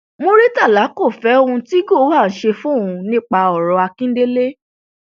muritàlá kò fẹ ohun tí gowon ṣe fóun nípa ọrọ akíndélé